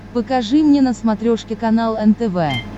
покажи мне на смотрешке канал нтв